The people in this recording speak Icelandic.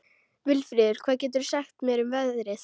Vilfríður, hvað geturðu sagt mér um veðrið?